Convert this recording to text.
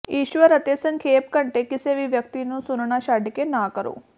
ਈਸਵਰ ਅਤੇ ਸੰਖੇਪ ਘੰਟੇ ਕਿਸੇ ਵੀ ਵਿਅਕਤੀ ਨੂੰ ਸੁਣਨਾ ਛੱਡ ਕੇ ਨਾ ਕਰੋ